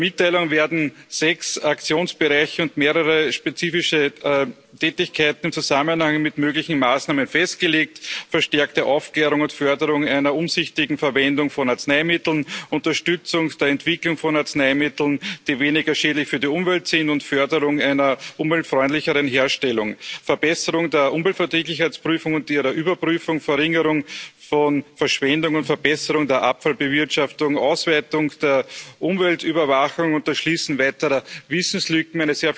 In der Mitteilung werden sechs Aktionsbereiche und mehrere spezifische Tätigkeiten im Zusammenhang mit möglichen Maßnahmen festgelegt verstärkte Aufklärung und Förderung einer umsichtigen Verwendung von Arzneimitteln, Unterstützung der Entwicklung von Arzneimitteln, die weniger schädlich für die Umwelt sind, und Förderung einer umweltfreundlicheren Herstellung, Verbesserung der Umweltverträglichkeitsprüfung und ihrer Überprüfung, Verringerung von Verschwendung und Verbesserung der Abfallbewirtschaftung, Auswertung der Umweltüberwachung und das Schließen weiterer Wissenslücken.